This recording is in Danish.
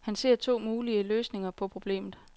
Han ser to mulige løsninger på problemet.